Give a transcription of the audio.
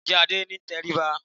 Ǹjẹ́ Adé ní ìtẹríba?